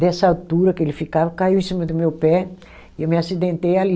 Dessa altura que ele ficava, caiu em cima do meu pé e eu me acidentei ali.